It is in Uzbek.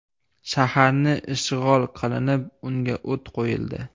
Shaharni ishg‘ol qilinib, unga o‘t qo‘yildi.